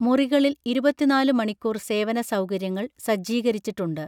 മുറികളിൽ ഇരുപത്തിനാല് മണിക്കൂർ സേവന സൗകര്യങ്ങൾ സജ്ജീകരിച്ചിട്ടുണ്ട്